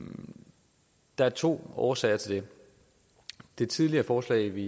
der to årsager til det tidligere forslag vi